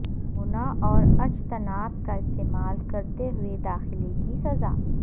نمونہ اور اجتناب کا استعمال کرتے ہوئے داخلہ کی سزا